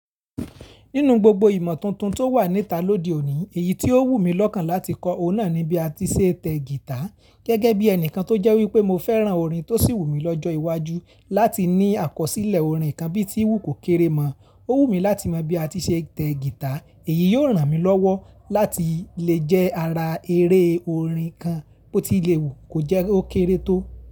Nínú gbogbo ìmọ̀ tuntun tó wà níta lóde òní, èyí tí ó wù mí lọ́kàn láti kọ́ ohùn náà ni bí a ti ṣe tẹ gítà. Gẹ́gẹ́ bí ẹnìkan tó jẹ́ wípé mo fẹ́ràn orin tó sì wù mí lọ́jọ́ iwájú láti ní àkọsílẹ̀ orin kan bí tí ìwú kò kéré mọ́, ó wù mí láti mọ bí a ti ṣe tẹ gítà. Èyí yóò ràn mí lọ́wọ́ láti lè jẹ́ ara eré orin kan bó ti lè wù kó jẹ́ ó kéré tó.